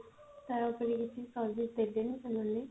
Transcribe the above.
ତାପରେ କିଛି ଦେବେନି ସେମାନେ